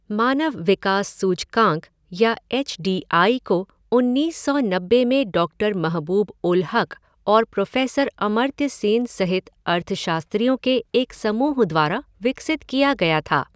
मानव विकास सूचकांक या एच डी आई को उन्नीस सौ नब्बे में डॉक्टर महबूब उल हक और प्रोफ़ेसर अमर्त्य सेन सहित अर्थशास्त्रियों के एक समूह द्वारा विकसित किया गया था।